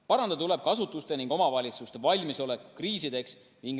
Parandada tuleb ka asutuste ning omavalitsuste valmisolekut kriisideks.